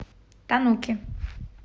тануки